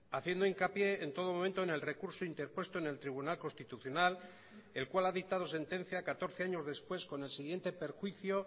haciendo hincapié en todo momento en el recurso interpuesto en el tribunal constitucional el cual ha dictado sentencia catorce años después con el siguiente perjuicio